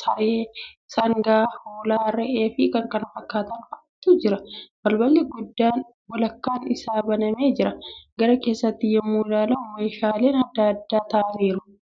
saree, sangaa, hoolaa, re'ee fi kan kana fakkaatan fa, atu jira. Balballi guddaan walakkaan isaa banamee jira. Gara keessaatti yemmuu ilaalamu meeshaaleen adda addaa tarraa'anii jiru.